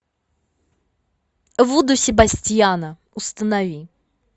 вуду себастьяна установи